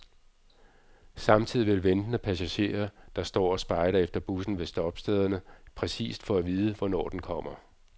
Samtidig vil ventende passagerer, der står og spejder efter bussen ved stoppestederne, præcist få at vide, hvornår den kommer.